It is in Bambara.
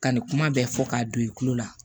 Ka nin kuma bɛɛ fɔ k'a don i kulo la